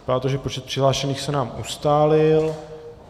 Vypadá to, že počet přihlášených se nám ustálil.